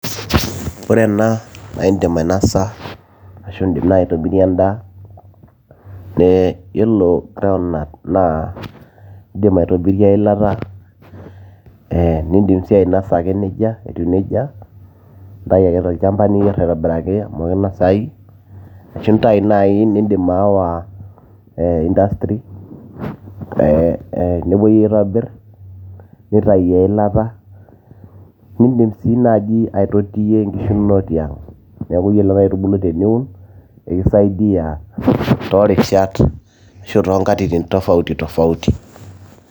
ore ena naa indim ainosa arashu indim naaji aitobirie end'aa, yiolo groundnut naa indim aitobirie eilata naa indim sii ainosa etiu ake nejia intayu ake tolchamba niyier aitobiraki arashu intayu naaji niind'im ayawa CS[industry]CS nepuoi aitobir neitayu eilata niidim sii naaji aitotiyie inkishu inonok te ang' neeku ore ena aitubulu teniun ekisaidia too rishat areshu too nkatitin naapasha.